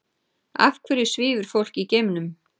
Af hverju svífur fólk í geimnum?